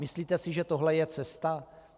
Myslíte si, že tohle je cesta?